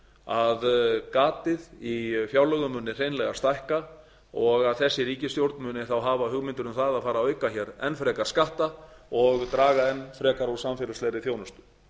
að gatið í fjárlögum muni hreinlega stækka og að þessi ríkisstjórn muni þá hafa hugmyndir um að að fara að auka hér enn frekar skatta og draga enn frekar úr samfélagslegri þjónustu